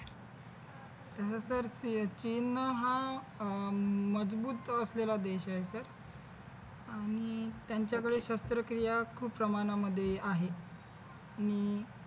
तस सर चीन हा अह मजबूत असलेला देश आहे सर आणि त्यांच्याकडे शस्त्रक्रिया खूप प्रमाणामध्ये आहे आणि